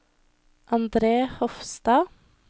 Andre Hofstad